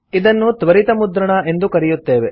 ಇದನ್ನು ತ್ವರಿತ ಮುದ್ರಣ ಎಂದು ಕರೆಯುತ್ತೇವೆ